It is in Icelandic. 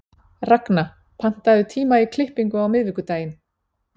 Ragna, pantaðu tíma í klippingu á miðvikudaginn.